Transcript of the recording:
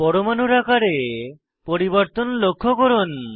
পরমাণু আকারে পরিবর্তন লক্ষ্য করুন